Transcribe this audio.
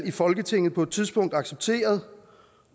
i folketinget på et tidspunkt accepteret